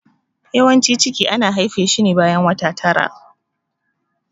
Yawancin ciki ana haife shi bayan wata tara.